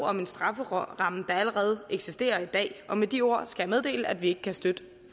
om en strafferamme der allerede eksisterer i dag og med de ord skal jeg meddele at vi ikke kan støtte